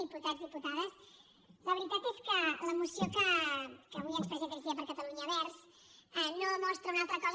diputats diputades la veritat és que la moció que avui ens presenta iniciativa per catalunya verds no mostra una altra cosa